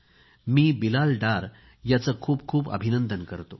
मी बिलाल डार याचे खूप अभिनंदन करतो